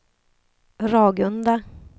Ragunda